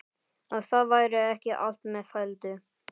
Að það væri ekki allt með felldu.